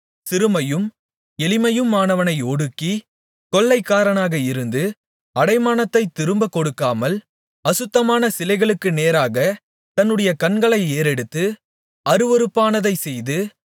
சிறுமையும் எளிமையுமானவனை ஒடுக்கி கொள்ளைக்காரனாக இருந்து அடைமானத்தைத் திரும்பக் கொடுக்காமல் அசுத்தமான சிலைகளுக்கு நேராக தன்னுடைய கண்களை ஏறெடுத்து அருவருப்பானதைச் செய்து